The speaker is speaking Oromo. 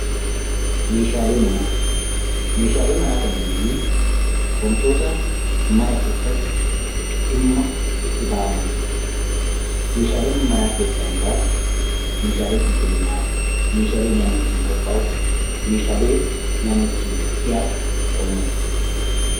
Meeshaalee manaa Meeshaalee manaa kan jennu wantoota mana keessatti dhimma itti bahamani dha. Meeshaalee manaa keessaa muraasni meeshaalee qulqullinaa, meeshaalee nyaanni ittiin qophaa'u, meeshaalee nyaanni ittiin dhiyaatu ta'uu malu.